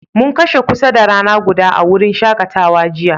Mun kashe kusa da rana guda a'wurin shakatawan jiya.